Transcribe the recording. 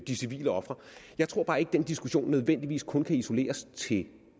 de civile ofre jeg tror bare ikke at den diskussion nødvendigvis kun kan isoleres til